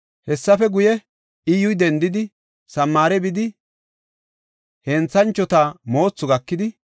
Hessafe guye, Iyyuy dendidi, Samaare bidi Henthanchota Moothu gakidi,